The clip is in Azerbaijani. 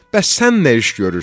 Bəs sən nə iş görürsən?